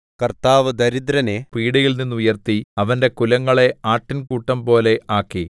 കർത്താവ് ദരിദ്രനെ പീഡയിൽനിന്നുയർത്തി അവന്റെ കുലങ്ങളെ ആട്ടിൻകൂട്ടംപോലെ ആക്കി